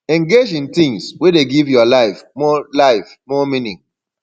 engage in things wey dey give your life more life more meaning